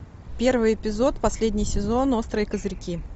первый эпизод последний сезон острые козырьки